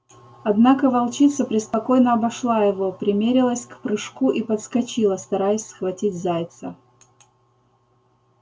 однако волчица преспокойно обошла его примерилась к прыжку и подскочила стараясь схватить зайца